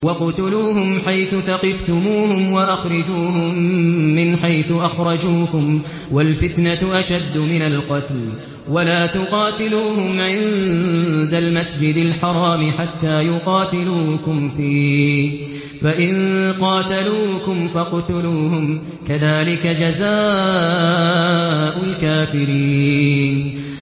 وَاقْتُلُوهُمْ حَيْثُ ثَقِفْتُمُوهُمْ وَأَخْرِجُوهُم مِّنْ حَيْثُ أَخْرَجُوكُمْ ۚ وَالْفِتْنَةُ أَشَدُّ مِنَ الْقَتْلِ ۚ وَلَا تُقَاتِلُوهُمْ عِندَ الْمَسْجِدِ الْحَرَامِ حَتَّىٰ يُقَاتِلُوكُمْ فِيهِ ۖ فَإِن قَاتَلُوكُمْ فَاقْتُلُوهُمْ ۗ كَذَٰلِكَ جَزَاءُ الْكَافِرِينَ